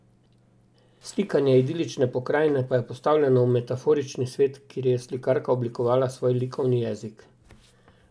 Slikanje idilične pokrajine pa je postavljeno v metaforični svet, kjer je slikarka oblikovala svoj likovni jezik.